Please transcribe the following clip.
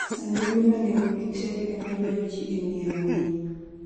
Sanduge ma nengogi tek ema ywayo ji e ng'iewo winy.